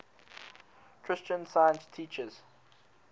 christian science teaches